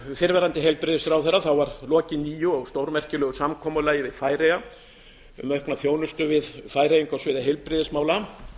fyrrverandi heilbrigðisráðherra var lokið nýju og stórmerkilegu samkomulagi við færeyjar um aukna þjónustu við færeyinga á sviði heilbrigðismála